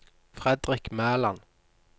Fredrik Mæland